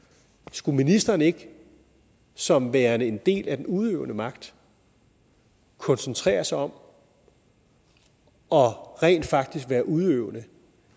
skulle ministeren ikke som værende en del af den udøvende magt koncentrere sig om rent faktisk at være udøvende